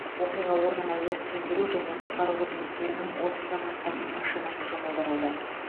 оқиға орнына өрт сөндіру және құтқару қызметтерінің отыздан астам машинасы жұмылдырылды